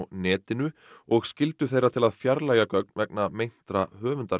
netinu og skyldu þeirra til að fjarlægja gögn vegna meintra